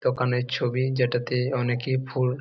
দোকানের ছবি যেটাতে অনেকে ফুল--